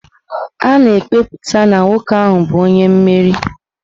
A na-ekwupụta na nwoke ahụ bụ onye mmeri.